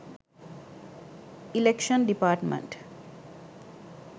election department